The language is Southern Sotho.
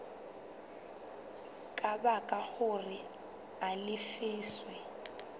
ka baka hore a lefiswe